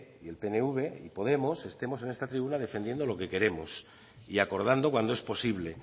y el pnv y podemos estemos en esta tribuna defendiendo lo que queremos y acordando cuando es posible